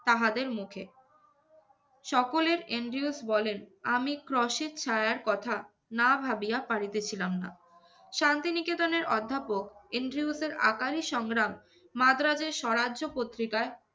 তাহাদের মুখে। সকলের এন্ড্রিউলফ বলেন আমি ক্রশের ছায়ার কথা না ভাবিয়া পারিতেছিলাম না। শান্তিনিকেতনের অধ্যাপক এন্ড্রিউলফের আকারী সংগ্রাম মাদ্রাজের স্বরাজ্য পত্রিকায়